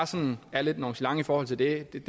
sådan lidt nonchalant i forhold til det kan